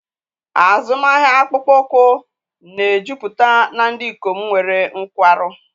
Azụmahịa akpụkpọ ụkwụ na-ejupụta na ndị ikom nwere nkwarụ.